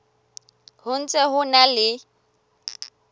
ho ntse ho na le